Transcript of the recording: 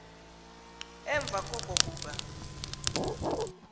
emva koko kuba